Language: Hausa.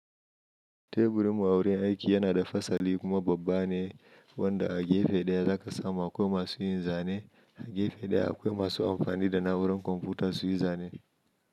Teburinmu awurin aiki yana da fasali kuma babba ne wanda a gefe ɗaya za ka samu akwai masu yin zane, a gefe ɗaya akwai masu amfani da na'urar kwamfuta su yi zane.